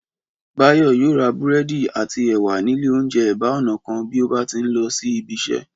Báyọ̀ yóò ra búrẹ́dì àti ẹ̀wà nílé oúnjẹ ẹ̀bá ọ̀nà kan bí ó bá ti ń lọ sí ibi iṣẹ́